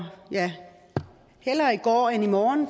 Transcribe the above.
hellere i går end i morgen